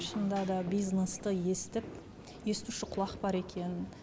шынында да бизнесті естіп естуші құлақ бар екен